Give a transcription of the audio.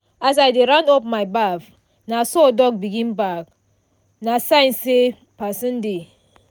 as i dey round up my baff na so dog begin bark – na sign say person dey.